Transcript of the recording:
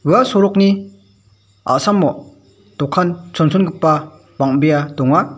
ua sorokni a·samo dokan chonchongipa bang·bea donga.